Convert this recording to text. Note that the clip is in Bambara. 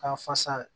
Ka fasa